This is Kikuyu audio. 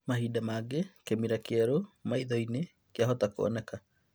Mahinda mangĩ kĩmira kĩeru maithoinĩ kĩahota kuonekana